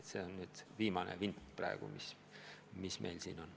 See on nüüd viimane vint, mis meil siin on.